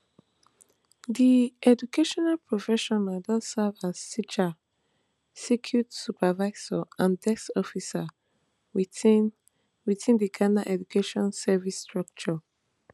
di educational professional don serve as teacher circuit supervisor and desk officer within within di ghana education service structure